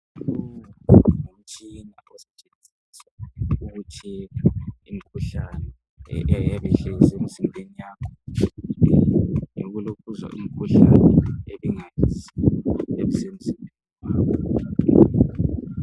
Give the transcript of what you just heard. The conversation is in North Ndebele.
lowo ngumutshina osetshenziswa ukutshekha imikhuhlane eyabe ihlezi emzimbeni yakho ngeyokulokhuza imikhuhlane eyabe ingayaziwa isemzimbeni wakho.